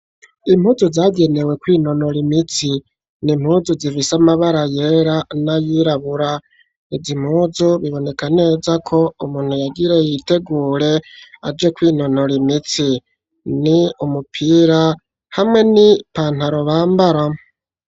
Impuzu zagenewe koinonora imitsi ni impuzu zifise amabara yera n'ayirabura ivya impuzu biboneka neza ko umuntu yagire yitegure aje ko inonora imitsi ni umupira hamwe ni pantarobambara.